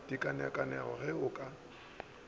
di kaonekaone ge o ka